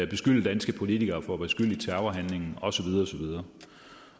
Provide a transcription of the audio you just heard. beskylde danske politikere for at være skyld i terrorhandlingen og så videre